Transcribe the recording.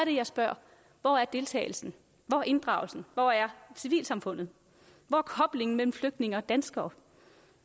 jeg spørger hvor er deltagelsen hvor er inddragelsen hvor er civilsamfundet hvor er koblingen mellem flygtninge og danskere